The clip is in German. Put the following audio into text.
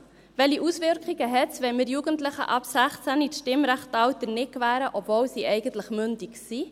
Welche Auswirkungen hat es, wenn wir Jugendliche ab 16 das Stimmrechtsalter nicht gewähren, obwohl sie eigentlich mündig sind?